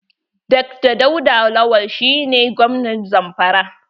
Dr dauda lawal shi ne gwamnan Zamfara.